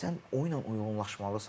Sən oyunla uyğunlaşmalısan.